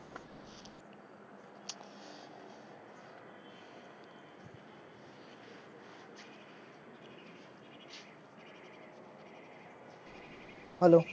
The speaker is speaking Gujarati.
hello